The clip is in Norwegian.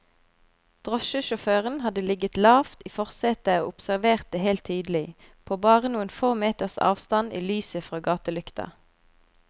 Drosjesjåføren hadde ligget lavt i forsetet og observert det hele tydelig, på bare noen få meters avstand i lyset fra gatelykta.